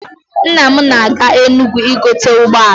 Nna m na-aga Enugwu igote ụgbọala.